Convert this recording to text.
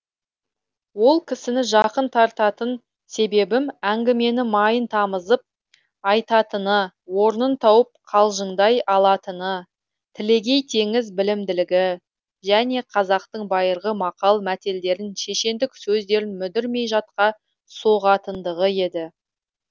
ол кісіні жақын тартатын себебім әңгімені майын тамызып айтатыны орнын тауып қалжыңдай алатыны телегей теңіз білімділігі және қазақтың байырғы мақал мәтелдерін шешендік сөздерін мүдірмей жатқа соғатындығы еді